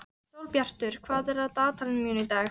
Sólbjartur, hvað er á dagatalinu mínu í dag?